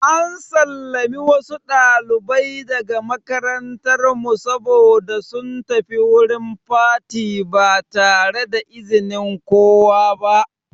An sallame wasu ɗalibai daga makarantar mu saboda sun tafi wurin fati ba tare da izinin kowa ba.